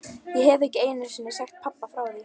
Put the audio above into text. Ég hef ekki einu sinni sagt pabba frá því.